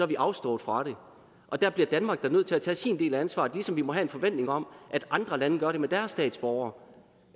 vi afstået fra det og der bliver danmark da nødt til at tage sin del af ansvaret ligesom vi må have en forventning om at andre lande gør med deres statsborgere